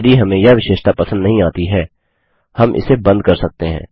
यदि हमें यह विशेषता पसंद नहीं आती है हम इसे बंद कर सकते हैं